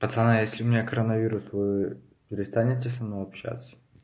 пацаны если у меня коронавирус вы перестанете со мной общаться